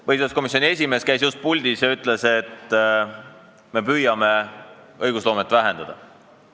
Põhiseaduskomisjoni esimees käis just puldis ja ütles, et me püüame õigusloomet vähendada.